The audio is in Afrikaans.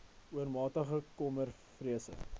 oormatige kommer vrese